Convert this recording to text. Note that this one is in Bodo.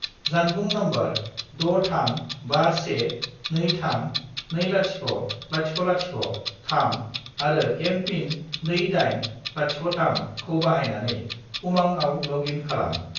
जानबुं नम्बर 63512320003 आरो एम.पिन. 2803 खौ बाहायनानै उमांआव लग इन खालाम।